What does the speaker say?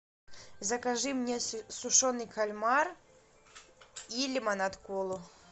закажи мне сушеный кальмар и лимонад колу